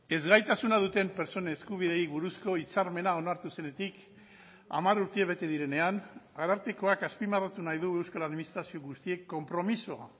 ezgaitasuna duten pertsona eskubideei buruzko hitzarmena onartu zenetik hamar urte bete direnean arartekoak azpimarratu nahi du euskal administrazio guztiek konpromiso